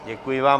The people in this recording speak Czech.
Děkuji vám.